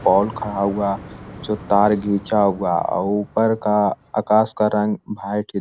Paul खड़ा हुआ जो तार घीचा हुआ और ऊपर का आकाश का रंग व्हाइट ही--